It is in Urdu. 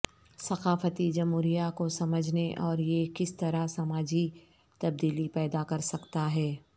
ثقافتی جمہوریہ کو سمجھنے اور یہ کس طرح سماجی تبدیلی پیدا کر سکتا ہے